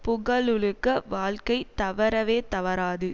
புகழுலக வாழ்க்கை தவறவே தவறாது